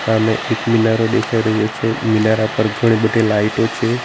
સામે એક મિનારો દેખાય રહ્યું છે મિનારા પર ઘણી બધી લાઈટો છે.